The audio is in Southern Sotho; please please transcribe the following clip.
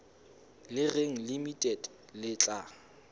le reng limited le tla